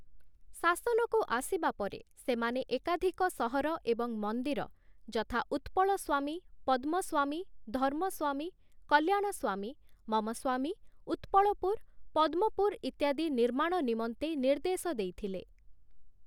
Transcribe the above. ଶାସନକୁ ଆସିବା ପରେ ସେମାନେ ଏକାଧିକ ସହର ଏବଂ ମନ୍ଦିର, ଯଥା - ଉତ୍ପଳସ୍ଵାମୀ, ପଦ୍ମସ୍ଵାମୀ, ଧର୍ମସ୍ଵାମୀ, କଲ୍ୟାଣସ୍ଵାମୀ, ମମସ୍ଵାମୀ, ଉତ୍ପଳପୁର, ପଦ୍ମପୁର ଇତ୍ୟାଦି ନିର୍ମାଣ ନିମନ୍ତେ ନିର୍ଦ୍ଦେଶ ଦେଇଥିଲେ ।